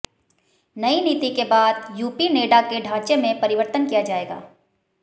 नई नीति के बाद यूपीनेडा के ढांचे में परिवर्तन किया जाएगा